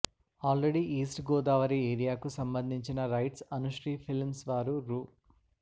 already east Godavari ఏరియాకు సంబంధించిన rights Anushree films వారు రూ